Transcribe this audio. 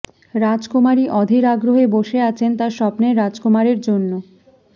রাজকুমারী অধীর আগ্রহে বসে আছেন তার স্বপ্নের রাজকুমারের জন্য